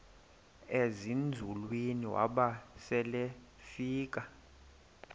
ezinzulwini waba selefika